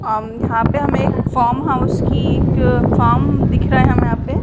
अम यहाँ पे हमें एक फॉर्म हाउस की फार्म दिख रहे है यहाँ पे।